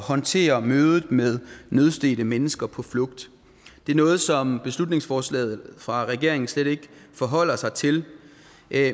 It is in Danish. håndtere mødet med nødstedte mennesker på flugt det er noget som beslutningsforslaget fra regeringen slet ikke forholder sig til